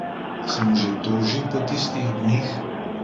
Se mu že toži po tistih dneh?